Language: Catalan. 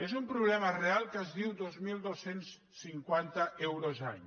és un problema real que es diu dos mil dos cents i cinquanta euros any